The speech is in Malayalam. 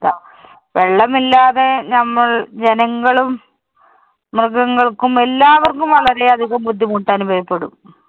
വെള്ളമില്ലാതെ ഞമ്മള്‍ ജനങ്ങളും, മൃഗങ്ങള്‍ക്കും എല്ലാവര്‍ക്കും വളരെ അധികം ബുദ്ധിമുട്ടനുഭവപ്പെടും.